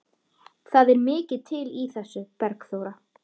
Það er mikið til í þessu, Bergþóra.